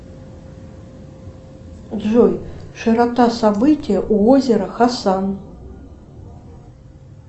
джой широта события у озера хасан